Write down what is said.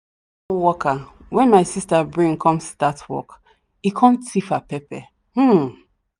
worker wen my sister bring come start work him come thief her pepper um